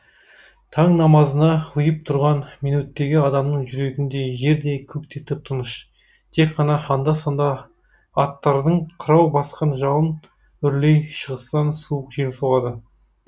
таң намазына ұйып тұрған минуттегі адамның жүрегіндей жер де көк те тып тыныш тек қана анда санда аттардың қырау басқан жалын үрлей шығыстан суық жел соғады